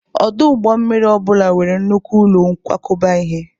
Ọdụ ụgbọ mmiri ọ bụla nwere nnukwu ụlọ nkwakọba ihe